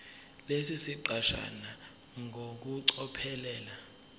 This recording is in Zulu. lesi siqeshana ngokucophelela